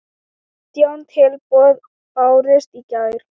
Átján tilboð bárust í gær.